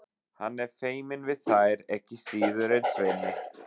Hann er feiminn við þær ekki síður en Svenni.